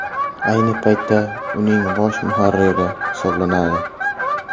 Ayni paytda uning bosh muharriri hisoblanadi.